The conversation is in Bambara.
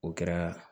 O kɛra